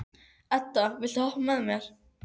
Edda, viltu hoppa með mér?